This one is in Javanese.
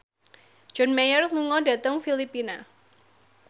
John Mayer lunga dhateng Filipina